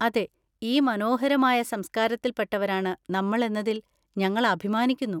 അതെ, ഈ മനോഹരമായ സംസ്കാരത്തിൽ പെട്ടവരാണ് നമ്മൾ എന്നതിൽ ഞങ്ങൾ അഭിമാനിക്കുന്നു.